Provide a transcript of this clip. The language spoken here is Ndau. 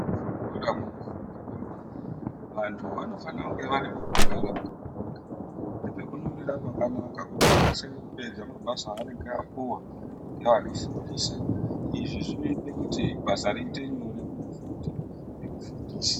Muzvikora munofundivamo vantu vanofanire kunge vane pekugara pakanaka, nepekunyorera pakanaka. Kuti akasire kupedza mabasa anenge apuwa ngeanofundisa, Zvinoite kuti basa riite nyore kumufundi nemufundisi.